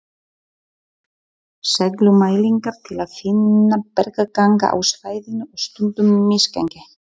Segulmælingar til að finna bergganga á svæðinu og stundum misgengi.